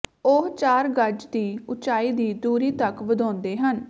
ਉਹ ਚਾਰ ਗਜ ਦੀ ਉਚਾਈ ਦੀ ਦੂਰੀ ਤਕ ਵਧਾਉਂਦੇ ਹਨ